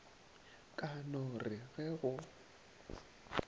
ka no re ge go